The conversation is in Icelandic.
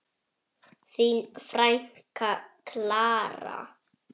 Þín frænka, Klara.